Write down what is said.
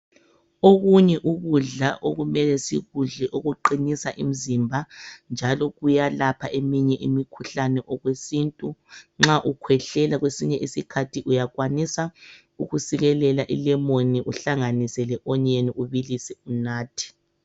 Okunye ukudla okumele sikudle okuqinisa imizimba njalo kuyalapha eminye imikhuhlane okwesintu nxa ukhwehlela kwesinye isikhathi uyakwanisa ukusikelela ilemoni uhlanganise leonyeni ubilise unathe.